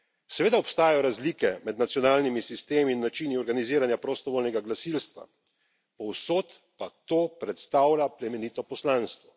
Seveda obstajajo razlike med nacionalnimi sistemi in načini organiziranja prostovoljnega gasilstva, povsod pa to predstavlja plemenito poslanstvo.